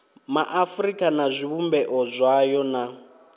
maafurika na zwivhumbeo zwayo na